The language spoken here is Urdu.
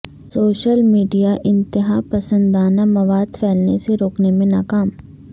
سوشل میڈیا انتہا پسندانہ مواد پھیلنے سے روکنے میں ناکام